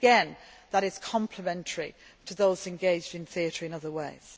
Again, that is complementary to those engaged in theatre in other ways.